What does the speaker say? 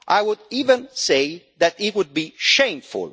I would even say that it would be shameful.